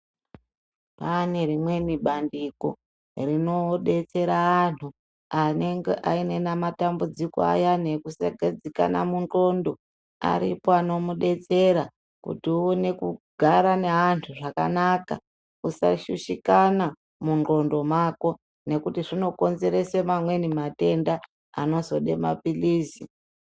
Kwaane rimweni bandiko rinobetsera antu anenge ainena matambudziko ayani ekusaigadzikana tayike ndxondo, aripo anomudetsera kuti aone kugara nevantu zvakanaka asashushikana mundxondo mako nekuti zvinokonzeresa mamweni matenda anozode maphiritsi.